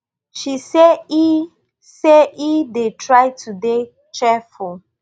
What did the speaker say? she say e say e dey try to dey cheerful